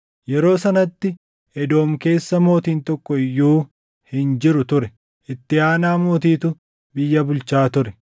Yeroo sanatti Edoom keessa mootiin tokko iyyuu hin jiru ture; itti aanaa mootiitu biyya bulchaa ture.